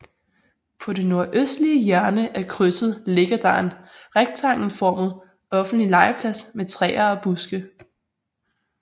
På det nordøstlige hjørne af krydset ligger der en rektangelformet offentlig legeplads med træer og buske